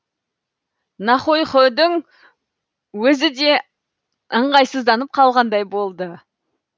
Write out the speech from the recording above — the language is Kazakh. нохойхүүдің өзі де ыңғайсызданып қалғандай болды